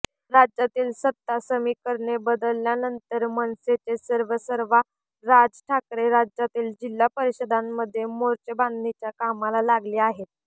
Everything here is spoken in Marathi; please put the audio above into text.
राज्यातील सत्ता समिकरणे बदलल्यानंतर मनसेचे सर्वेसर्वा राज ठाकरे राज्यातील जिल्हा परिषदांमधील मोर्चेबांधणीच्या कामाला लागले आहेत